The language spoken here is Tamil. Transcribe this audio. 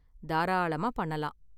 தாராளமா பண்ணலாம்.